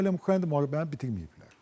Bunlar elə Ukraynada müharibəni bitirməyiblər.